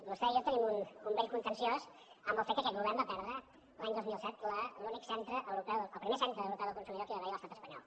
vostè i jo tenim un vell contenciós amb el fet que aquest govern va perdre l’any dos mil set el primer centre europeu del consumidor que va haver hi a l’estat espanyol